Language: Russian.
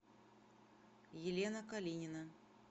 елена калинина